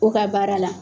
O ka baara la